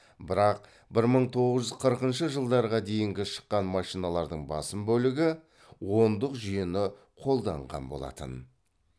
бірақ бір мың тоғыз жүз қырқыншы жылдарға дейінгі шыққан машиналардың басым бөлігі ондық жүйені қолданған болатын